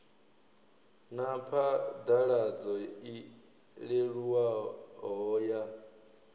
na phaḓaladzo i leluwaho ya